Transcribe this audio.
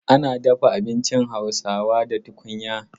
Ana dafa abinci Hausawa da tukunya.